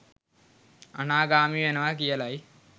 අනාගාමී වෙනවා කියලයි.